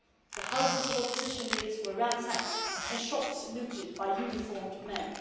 the houses of opposition leaders were ransacked and shops looted by uniformed men.